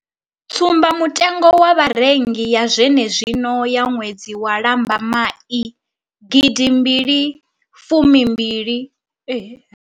Tsumbamutengo wa vharengi ya zwenezwino ya ṅwedzi wa lambamai gidimbili fumi mbili.